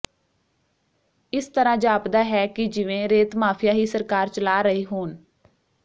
ਇਸ ਤਰ੍ਹਾਂ ਜਾਪਦਾ ਹੈਂ ਕਿ ਜਿਵੇਂ ਰੇਤ ਮਾਫੀਆ ਹੀ ਸਰਕਾਰ ਚਲਾ ਰਹੇ ਹੋਣ